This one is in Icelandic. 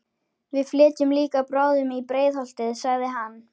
Við flytjum líka bráðum í Breiðholtið, sagði hann.